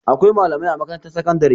Akwai malamai a makarantar sakandare.